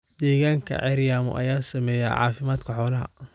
Deegaanka ceeryaamo ayaa saameeya caafimaadka xoolaha.